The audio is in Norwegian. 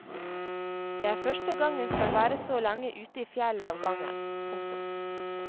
Det er første gang hun skal være så lenge ute i fjellet av gangen. punktum